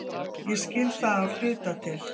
Ég skil það af hluta til.